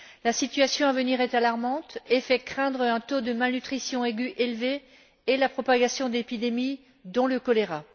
La situation à venir est alarmante et fait craindre un taux de malnutrition aiguë élevé et la propagation d'épidémies, dont le choléra.